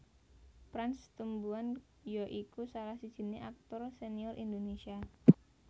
Prans Tumbuan ya iku salah sijiné aktor senior Indonésia